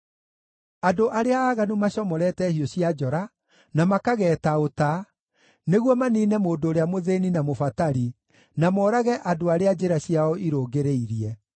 Andũ arĩa aaganu macomorete hiũ cia njora, na makageeta ũta nĩguo maniine mũndũ ũrĩa mũthĩĩni na mũbatari, na moorage andũ arĩa njĩra ciao irũngĩrĩirie.